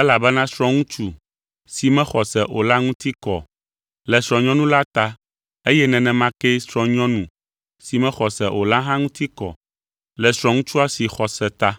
Elabena srɔ̃ŋutsu si mexɔ se o la ŋuti kɔ le srɔ̃nyɔnu la ta eye nenema ke srɔ̃nyɔnu si mexɔ se o la hã ŋuti kɔ le srɔ̃ŋutsua si xɔ se ta.